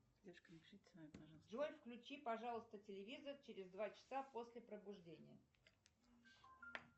джой включи пожалуйста телевизор через два часа после пробуждения